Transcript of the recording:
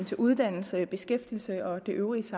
til uddannelse beskæftigelse og det øvrige